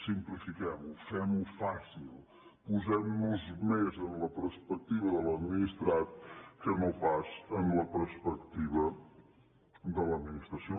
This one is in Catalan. simplifiquem ho fem ho fàcil posem nos més en la perspectiva de l’administrat que no pas en la perspectiva de l’administració